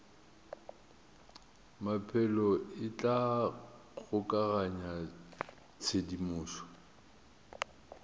maphelo e tla kgokaganya tshedimošo